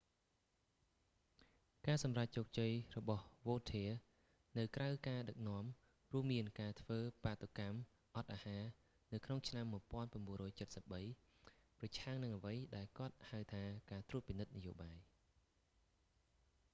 ការសម្រេចជោគជ័យរបស់វោធា vautier នៅក្រៅការដឹកនាំ រួមមានការធ្វើបាតុកម្មអត់អាហារនៅក្នុងឆ្នាំ1973 ប្រឆាំងនឹងអ្វីដែលគាត់ហៅថាការត្រួតពិនិត្យនយោបាយ